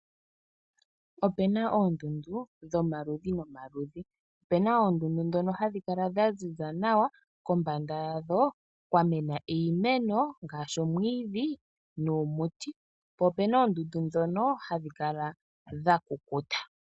Opena oondundu dhomaludhi nomaludhi. Opena oondundu ndhono hadhi kala dhaziza nawa kombanda yadho kwa mena iimeno ngaashi omwiidhi nuumuti, po opena oondundu ndhono hadhi kala dha kukuta.